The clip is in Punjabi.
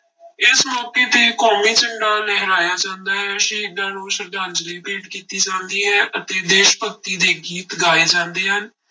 ਇਸ ਮੌਕੇ ਤੇ ਕੌਮੀ ਝੰਡਾ ਲਹਰਾਇਆ ਜਾਂਦਾ ਹੈ, ਸ਼ਹੀਦਾਂ ਨੂੰ ਸਰਧਾਂਂਜਲੀ ਭੇਟ ਕੀਤੀ ਜਾਂਦੀ ਹੈ ਅਤੇ ਦੇਸ ਭਗਤੀ ਦੇ ਗੀਤ ਗਾਏ ਜਾਂਦੇ ਹਨ।